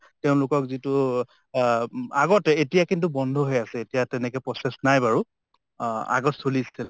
তেওঁলোকক যিটো অ , আগতে এতিয়া কিন্তু বন্ধ হৈ আছে । এতিয়া তেনেকে process নাই বাৰু । অ আগত চলিছিল।